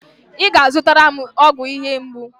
Ị ga-azụtara m ọgwụ ihe mgbu.